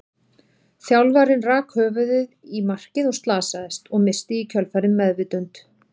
Þjálfarinn rak höfuðið í markið og slasaðist, og missti í kjölfarið meðvitund.